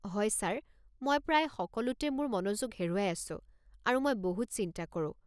হয় ছাৰ, মই প্ৰায় সকলোতে মোৰ মনোযোগ হেৰুৱাই আছোঁ, আৰু মই বহুত চিন্তা কৰোঁ।